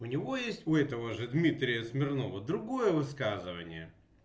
у него есть у этого же дмитрия смирнова другое высказывание